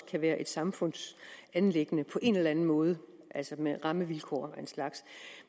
kan være et samfundsanliggende på en eller anden måde altså med rammevilkår af en slags